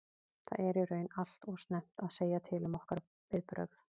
Það er í raun allt og snemmt að segja til um okkar viðbrögð.